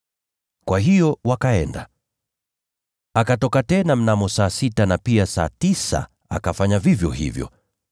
Kwa hiyo wakaenda. “Akatoka tena mnamo saa sita na pia saa tisa akafanya vivyo hivyo.